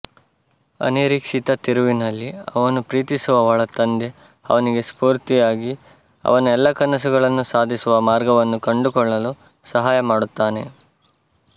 ಅನಿರೀಕ್ಷಿತ ತಿರುವಿನಲ್ಲಿ ಅವನು ಪ್ರೀತಿಸುವವಳ ತಂದೆ ಅವನಿಗೆ ಸ್ಪೋರ್ತಿಯಾಗಿ ಅವನ ಎಲ್ಲಾ ಕನಸುಗಳನ್ನು ಸಾಧಿಸುವ ಮಾರ್ಗವನ್ನು ಕಂಡುಕೊಳ್ಳಲು ಸಹಾಯ ಮಾಡುತ್ತಾನೆ